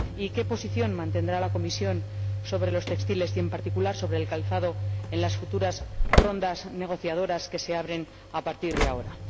¿Qué posición mantendrá la Comisión sobre los textiles, y en particular sobre el calzado, en las rondas negociadoras que se abren a partir de ahora?